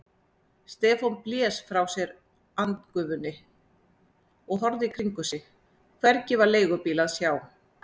Stefán blés frá sér andgufunni og horfði í kringum sig, hvergi var leigubíl að sjá.